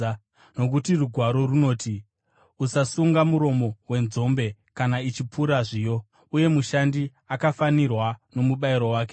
Nokuti Rugwaro runoti, “Usasunga muromo wenzombe kana ichipura zviyo,” uye “Mushandi akafanirwa nomubayiro wake.”